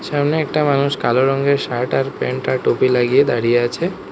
সামনে একটা মানুষ কালো রঙের শার্ট আর প্যান্ট আর টুপি লাগিয়ে দাঁড়িয়ে আছে।